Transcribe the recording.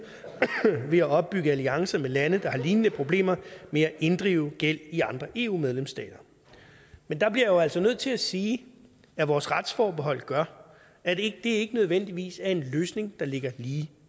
ved at opbygge alliancer med lande der har lignende problemer med at inddrive gæld i andre eu medlemsstater men der bliver jeg jo altså nødt til at sige at vores retsforbehold gør at det ikke nødvendigvis er en løsning der ligger lige